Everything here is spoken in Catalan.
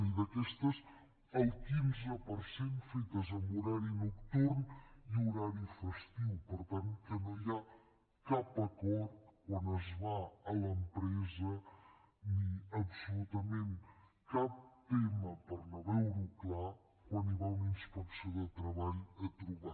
i d’aquestes el quinze per cent fetes en horari nocturn i horari festiu per tant que no hi ha cap acord quan es va a l’empresa ni absolutament cap tema per no veure ho clar quan hi va una inspecció de treball a trobar